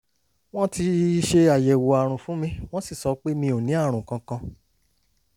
wọ́n ti ṣe àyẹ̀wò àrùn fún mi wọ́n sì sọ pé mi ò ní àrùn kankan